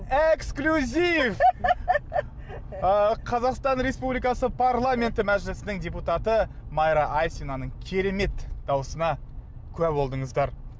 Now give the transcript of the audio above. эксклюзив ы қазақстан республикасы парламенті мәжілісінің депутаты майра айзинаның керемет дауысына куә болдыңыздар